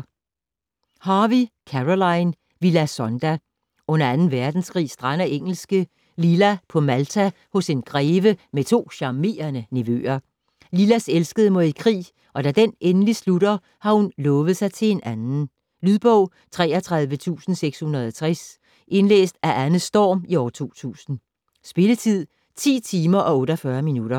Harvey, Caroline: Villa Zonda Under 2. verdenskrig strander engelske Lila på Malta hos en greve med to charmerende nevøer. Lilas elskede må i krig, og da den endelig slutter, har hun lovet sig til en anden. Lydbog 33660 Indlæst af Anne Storm, 2002. Spilletid: 10 timer, 48 minutter.